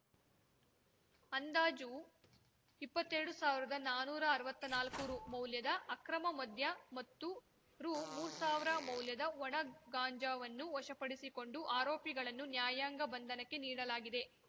ಅಂದಾಜು ಇಪ್ಪತ್ತೆರಡು ಸಾವಿರ್ದಾ ನಾನುರಾ ಅರ್ವತ್ನಾಲಕ್ಕು ರುಮೌಲ್ಯದ ಅಕ್ರಮ ಮದ್ಯ ಮತ್ತು ರು ಮೂರು ಸಾವಿರ ಮೌಲ್ಯದ ಒಣ ಗಾಂಜಾವನ್ನು ವಶಪಡಿಸಿಕೊಂಡು ಆರೋಪಿಗಳನ್ನು ನ್ಯಾಯಾಂಗ ಬಂಧನಕ್ಕೆ ನೀಡಲಾಗಿದೆ